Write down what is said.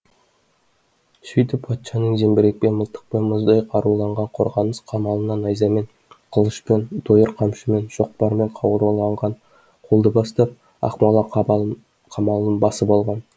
сөйтіп патшаның зеңбірекпен мылтықпен мұздай қаруланған қорғаныс қамалына найзамен қылышпен дойыр қамшымен шоқпармен қаруланған қолды бастап ақмола қамалын басып алған